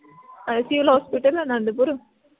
ICLhospital Anandpur